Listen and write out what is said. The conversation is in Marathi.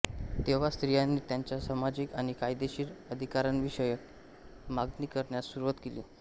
तेव्हा स्त्रियांनी त्यांच्या सामाजिक आणि कायदेशीर अधिकारांविषयक मागणी करण्यास सुरूवात केली